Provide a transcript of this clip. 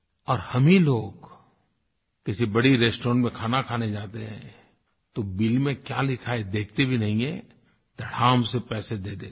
और हम ही लोग किसी बड़े रेस्टॉरेंट में खाना खाने जाते हैं तो बिल में क्या लिखा है देखते भी नहीं हैं धड़ाम से पैसे दे देते हैं